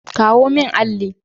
Kawo min alli!